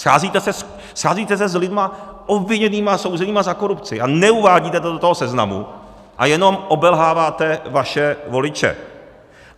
Scházíte se s lidmi obviněnými a souzenými za korupci a neuvádíte to do toho seznamu a jenom obelháváte vaše voliče.